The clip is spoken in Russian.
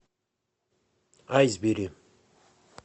айсберри